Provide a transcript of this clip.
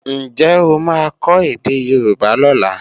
Ǹjẹ́ ó máa kọ́ èdè Yorùbá lọ́la?